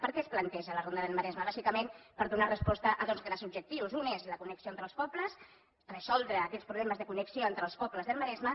per què es planteja la ronda del maresme bàsicament per donar resposta a dos grans objectius un és la connexió entre els pobles resoldre aquests problemes de connexió entre els pobles del maresme